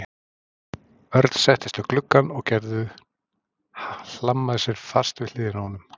Örn settist við gluggann og Gerður hlammaði sér fast við hliðina á honum.